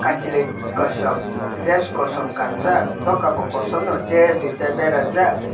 kwnchli kosom dress kosom kanjak nokai no kosom no chair duita bera jaak.